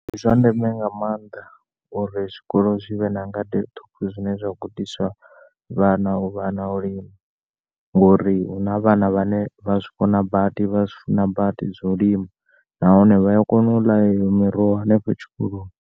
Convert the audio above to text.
Ndi zwa ndeme nga maanḓa uri zwikolo zwivhe na ngade ṱhukhu zwine zwa gudisa vhana uvha na u lima ngori huna vhana vhane vha zwi kona badi vha zwifuna badi zwa u lima, nahone vhaya kona u ḽa eyo miroho afho tshikoloni.